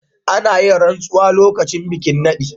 Ana yin ransuwa lokacin bikin nadin.